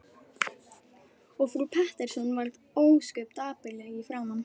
Og frú Pettersson varð ósköp dapurleg í framan.